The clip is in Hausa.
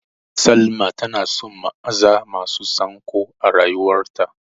Salma tana son maza masu sanƙo a rayuwarta.